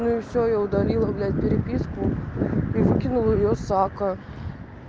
ну и всё я удалила блядь переписку и выкинул её с акка